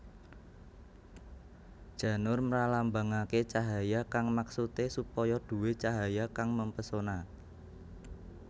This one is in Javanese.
Janur mralambangake cahaya kang maksude supaya duwé cahaya kang mempesona